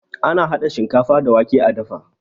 Ana hada shinkafa da wake a dafa